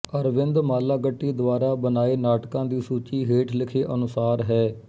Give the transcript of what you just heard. ਅਰਵਿੰਦ ਮਾਲਾਗੱਟੀ ਦੁਆਰਾ ਬਣਾਏ ਨਾਟਕਾਂ ਦੀ ਸੂਚੀ ਹੇਠ ਲਿਖੇ ਅਨੁਸਾਰ ਹੈ